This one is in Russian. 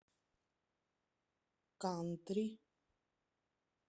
кантри